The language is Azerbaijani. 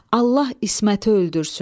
Allah İsməti öldürsün.